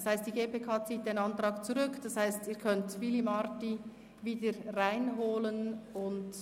– Das heisst, die GPK zieht den Antrag zurück, und das bedeutet, dass Sie Willy Marti wieder hereinholen können.